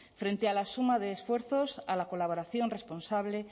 frente a la suma de esfuerzos a la colaboración responsable